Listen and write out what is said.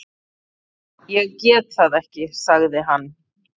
Ég get það ekki sagði hann.